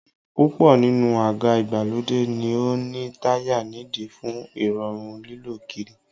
Púpọ̀ nínú àga ìgbàlódé ni ó ní táyà nídìí fún Ìrọ̀rùn lílọ kiri